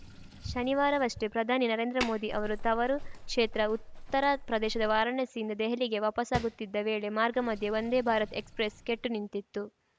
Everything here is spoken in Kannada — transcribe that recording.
ಶನಿವಾರವಷ್ಟೇ ಪ್ರಧಾನಿ ನರೇಂದ್ರ ಮೋದಿ ಅವರು ತವರು ಕ್ಷೇತ್ರ ಉತ್ತರ ಪ್ರದೇಶದ ವಾರಾಣಸಿಯಿಂದ ದೆಹಲಿಗೆ ವಾಪಸ್ಸಾಗುತ್ತಿದ್ದ ವೇಳೆ ಮಾರ್ಗಮಧ್ಯೆ ವಂದೇ ಭಾರತ್‌ ಎಕ್ಸ್‌ಪ್ರೆಸ್‌ ಕೆಟ್ಟು ನಿಂತಿತ್ತು